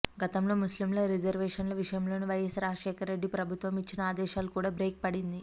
గతంలో ముస్లిం రిజర్వేషన్ల విషయంలోనూ వైఎస్ రాజశేఖర్ రెడ్డి ప్రభుత్వం ఇచ్చిన ఆదేశాలు కూడా బ్రేక్ పడింది